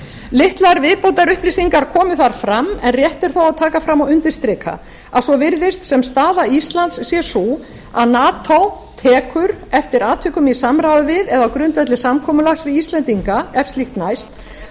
litlar viðbótarupplýsingar komu þar fram en rétt er þó að taka fram og undirstrika að svo virðist sem staða íslands sé sú að mati tekur eftir atvikum í samráði við eða á grundvelli samkomulags við íslendinga ef slíkt næst